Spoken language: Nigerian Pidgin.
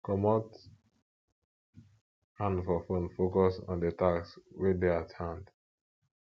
comot hand for phone focus on di task wey dey at hand